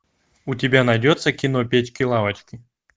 у тебя найдется кино печки лавочки